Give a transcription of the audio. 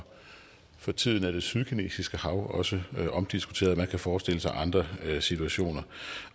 for tiden er det sydkinesiske hav også omdiskuteret og man kan forestille sig andre situationer